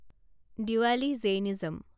Diwali Jainism